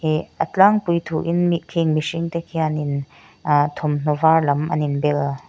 ihh a tlangpui thuin mi khing mihring te khianin aa thawmhnawh var lam an in bel.